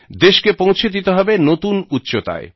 দেশকে পৌঁছে দিতে হবে নতুন উচ্চতায়